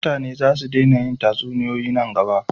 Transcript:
mutane za su dena yin tatsuniyoyi nan gaba